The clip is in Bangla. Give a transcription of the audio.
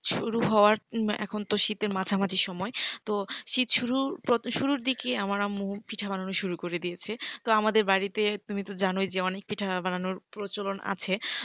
শুরু হওয়ার এখন তো শীতের মাঝি মাঝি সময় তো শীত শুরুর দিকেই আমার আম্মু পিঠা বানানো শুরু করে দিয়েছে। তো আমাদের বাড়িতে তুমি তো জানোই যে অনেক পিঠা বানানোর প্রচলন আছে।